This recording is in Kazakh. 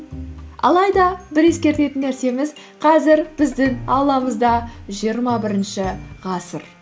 алайда бір ескертетін нәрсеміз қазір біздің ауламызда жиырма бірінші ғасыр